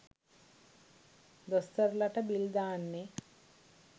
දොස්තරලට bill දාන්නේ?